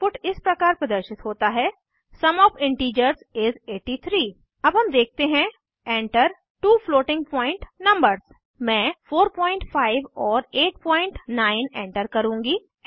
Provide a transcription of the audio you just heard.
output इस प्रकार प्रदर्शित होता है सुम ओएफ इंटीजर्स इस 83 अब हम देखते हैं Enter two floating point numbers मैं 45 और 89 एंटर करुँगी